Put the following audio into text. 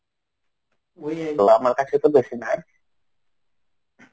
আমার কাছে তো বেশি নাই.